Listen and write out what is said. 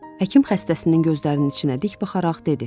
Həkim xəstəsinin gözlərinin içinə dik baxaraq dedi.